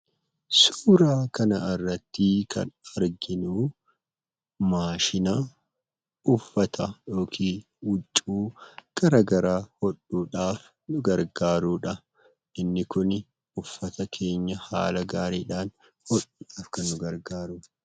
Suuraa kana irratti kan arginu, maashina uffata yookiin huccuu garagaraa hodhuudhaaf kan nu gargaarudha. Inni kuni uffata keenya haala gaariidhaan hodhuudhaaf kan nu gargaaruudha.